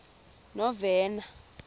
novena